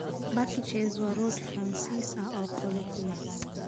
Baguettes waa rooti Faransiis ah oo qolof leh.